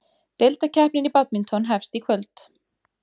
Deildakeppnin í badminton hefst í kvöld